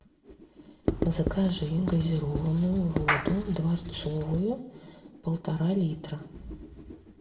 закажи газированную воду дворцовую полтора литра